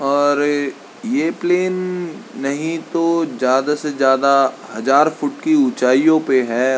और ये प्लेन नहीं तो ज्यादा से ज्यादा हज़ार फूट ही ऊंचाइयों पे है।